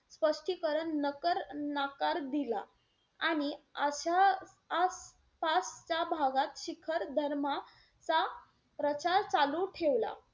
स्पष्टीकरण नकर~ नाकार दिला. आणि आचा आसपासच्या भागात शिखर धर्माचा प्रचार चालू ठेवला.